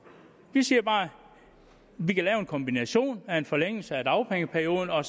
vi siger bare at vi kan lave en kombination af en forlængelse af dagpengeperioden og